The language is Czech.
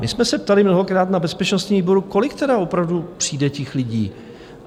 My jsme se ptali mnohokrát na bezpečnostním výboru, kolik tedy opravdu přijde těch lidí?